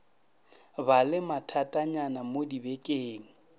ba le mathatanyana mo dibekeng